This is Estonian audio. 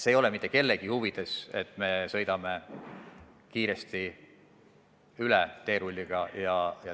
See ei ole mitte kellegi huvides, kui me sõidame sellest kiiresti teerulliga üle.